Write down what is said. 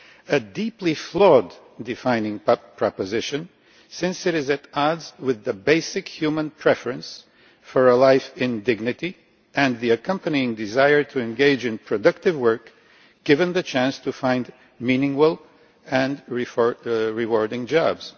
a deeply flawed defining proposition, since it is at odds with the basic human preference for a life in dignity and the accompanying desire to engage in productive work given the chance to find meaningful and rewarding jobs.